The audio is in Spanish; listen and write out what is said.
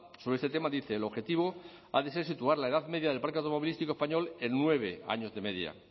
sobre este tema dice el objetivo ha de ser situar la edad media del parque automovilístico español en nueve años de media